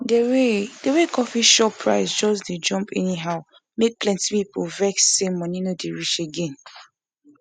the way the way coffee shop price just jump anyhow make plenty people vex say money no dey reach again